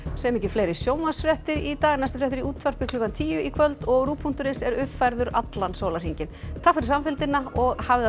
segjum ekki fleiri sjónvarpsfréttir í dag næstu fréttir í útvarpi klukkan tíu í kvöld og rúv punktur is er uppfærður allan sólarhringinn takk fyrir samfylgdina og hafið það